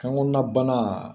Kan kɔnna banna